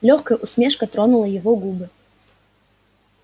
лёгкая усмешка тронула его губы